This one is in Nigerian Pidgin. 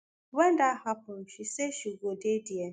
wen dat happen she say she go dey dia.